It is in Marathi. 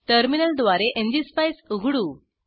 टर्मिनल द्वारे एनजीएसपाईस उघडू